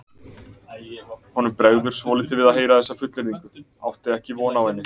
Honum bregður svolítið við að heyra þessa fullyrðingu, átti ekki von á henni.